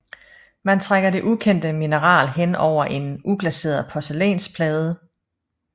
Man trækker det ukendte mineral hen over en uglaseret porcelænsplade